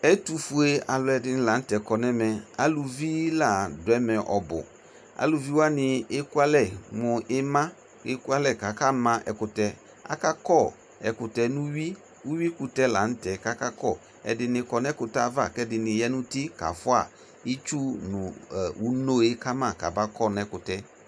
Ɛtʋfue alʋɛdɩnɩ la n'tɛ kɔ n'ɛmɛ, aluvi la dʋ ɛmɛ ɔbʋ Aluviwanɩ ekualɛ mʋ ɩma ekualɛ k'akama ɛkʋtɛ, akakɔ ɛkʋtɛ nʋ uyui, uyuikʋtɛ la n'tɛ k'akakɔ Ɛdɩnɩ kɔ n'ɛkʋtɛ ava k'ɛdɩnɩ ya n'uti kafua itsu nʋ uno yɛ kama kamakɔ n'ɛkʋtɛ